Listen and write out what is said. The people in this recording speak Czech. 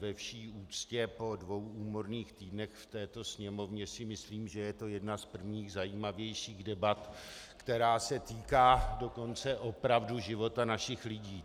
Ve vší úctě, po dvou úmorných týdnech v této Sněmovně si myslím, že je to jedna z prvních zajímavějších debat, která se týká dokonce opravdu života našich lidí.